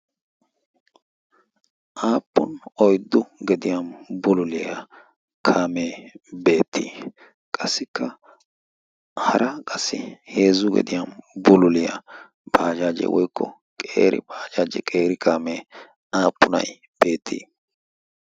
aappun oyddu gediyan bululiyaa kaamee beettii qassikka hara qassi heezzu gediyan bululiyaa baajaaje woikko qeeri baajaaje qeeri kaamee aappunai beettii?